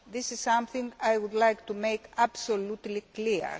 That is something I would like to make absolutely clear.